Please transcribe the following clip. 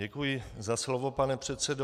Děkuji za slovo, pane předsedo.